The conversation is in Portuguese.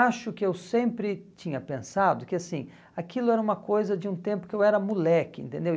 Acho que eu sempre tinha pensado que, assim, aquilo era uma coisa de um tempo que eu era moleque, entendeu?